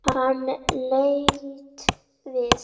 Hann leit við.